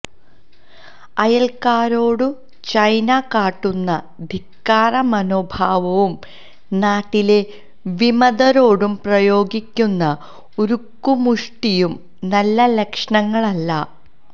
അയല്ക്കാരോടു China കാട്ടുന്ന ധിക്കാര മനോഭാവവും നാട്ടിലെ വിമതരോടു പ്രയോഗിക്കുന്ന ഉരുക്കുമുഷ്ടിയും നല്ല ലക്ഷണങ്ങളല്ല